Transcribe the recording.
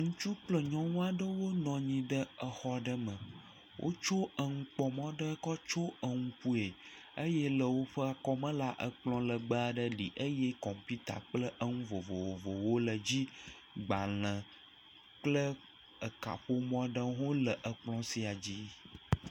Ŋutsu kple nyɔnu aɖewo nɔ anyi ɖe xɔ aɖe me wotso enukpɔmɔ aɖe tsyɔ ŋkue eye woƒe akɔme la kplɔ legbe aɖe li eye kɔmpuita kple nu vovovowo le dzi agbalẽ kple kaƒomɔ aɖewo ha le kplɔ sia dzi